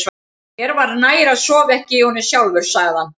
Mér var nær að sofa ekki í honum sjálfur, sagði hann.